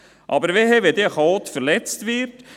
Aber wehe, wenn dann ein Chaot verletzt wird.